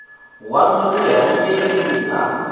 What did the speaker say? waṋu ri ye hangei ha